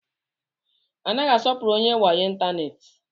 A naghị asọpụrụ onye wayo ịntanetị.